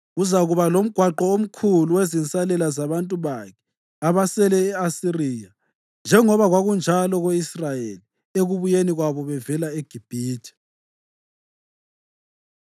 Kuzakuba lomgwaqo omkhulu wezinsalela zabantu bakhe abasele e-Asiriya, njengoba kwakunjalo ko-Israyeli ekubuyeni kwabo bevela eGibhithe.